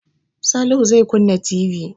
Salihu zai kunna TV.